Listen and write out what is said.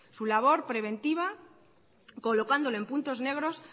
su labor preventiva colocando en puntos negros